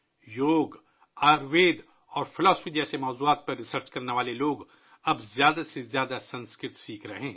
یوگا، آیوروید اور فلسفہ جیسے موضوعات پر تحقیق کرنے والے لوگ اب زیادہ سے زیادہ سنسکرت سیکھ رہے ہیں